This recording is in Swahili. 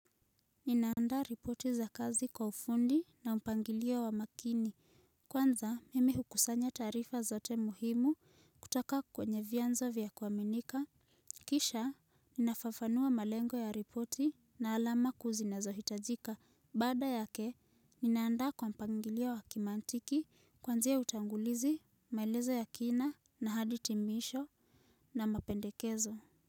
Ninaanda ripoti za kazi kwa ufundi na mpangilio wa makini. Kwanza mime hukusanya taarifa zote muhimu kutaka kwenye vianzo vya kuaminika. Kisha, ninafafanua malengo ya ripoti na alama kuzinazo hitajika. Bada yake, ninaanda kwa mpangilia wa kimantiki kwanzia utangulizi, maelezo ya kina na haditimisho na mapendekezo.